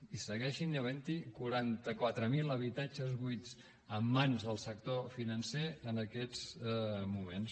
i segueixen havent hi quaranta quatre mil habitatges buits en mans del sector financer en aquests moments